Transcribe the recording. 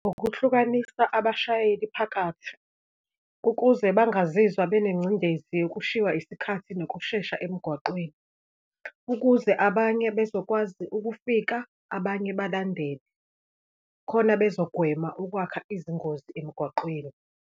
Ukuhlukanisa abashayeli phakathi, ukuze bangazizwa benengcindezi yokushiywa isikhathi nokushesha emgwaqeni, ukuze abanye bezokwazi ukufika, abanye balandele khona bazogwema ukwakha izingozi emgwaqeni.